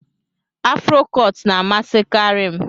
Afro cọt na amasi kari m.